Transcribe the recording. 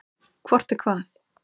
Hvort er hvað?